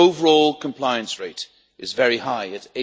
The overall compliance rate is very high at